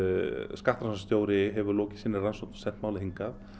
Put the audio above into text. skattrannsóknarstjóri hefur lokið sinni rannsókn og sent málið hingað